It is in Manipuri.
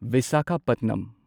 ꯚꯤꯁꯥꯈꯥꯄꯠꯅꯝ